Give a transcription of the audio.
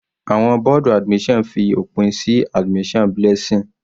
Àwọn bọ́ọ̀dù admission fi òpin sí admission Blessing.